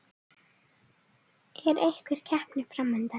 Er einhver keppni fram undan?